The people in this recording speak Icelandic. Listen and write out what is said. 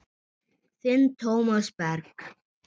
Þinn Tómas Berg.